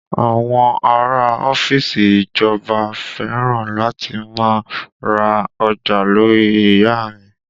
Àwọn ará a ọ́fíìsì ìjọba fẹ́ràn láti má a ra ọjà lórí ìyá a mi